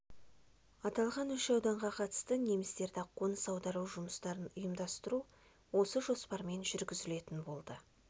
аталған үш ауданға қатысты немістерді қоныс аудару жұмыстарын ұйымдастыру осы жоспармен жүргізілетін болды